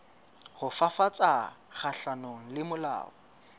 ho fafatsa kgahlanong le mahola